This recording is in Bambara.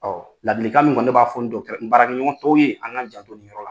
Ɔ ladilikan min kɔni ne b'a fɔ n dɔgɔtɔ n baarakɛɲɔgɔntɔ ye an ka jando ni yɔrɔ la